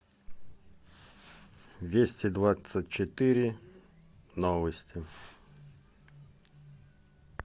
вести двадцать четыре новости